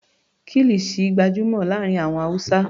Kilisi gbajúmọ̀ láàárín àwọn Hausa.